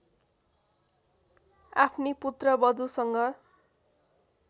आफ्नी पुत्रवधूसँग